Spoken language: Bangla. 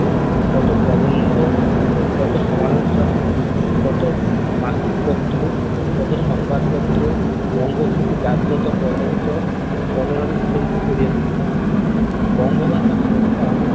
কত প্রবন্ধ, কত সমালোচনা কত মাসিক পত্র, কত সংবাদপত্র বঙ্গভূমিকে জাগ্রত, প্রভাবিত, কলরবে মুখরিত করিয়া তুলিলো । বঙ্গমাতা সহসা